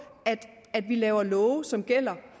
at vi laver love som gælder